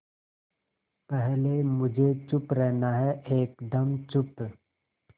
पहले मुझे चुप रहना है एकदम चुप